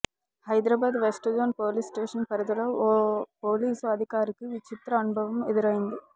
Hyderabad west zone police station పరిధిలో ఓ police అధికారికి విచిత్ర అనుభవం ఎదురైంది